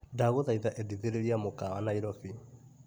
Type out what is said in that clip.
Ndagũthaitha endithĩrĩria mũkawa Naĩrobĩ .